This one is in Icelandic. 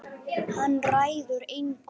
Hann ræður engu.